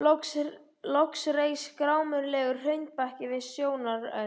Loks reis grámyglulegur hraunbakki við sjónarrönd.